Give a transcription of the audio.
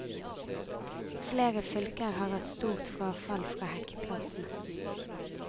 Flere fylker har hatt stort frafall fra hekkeplassene.